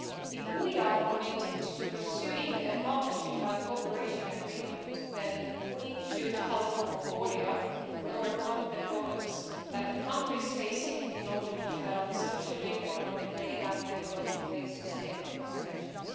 If we are committed to pursuing a Partnership and Cooperation Agreement, then we should help Mongolia overcome the problems that the country is facing in order to develop socially, economically and ecologically sustainable relations.